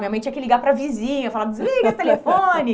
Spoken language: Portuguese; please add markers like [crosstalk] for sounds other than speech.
Aí minha mãe tinha que ligar para a vizinha, falar, [laughs] desliga esse telefone.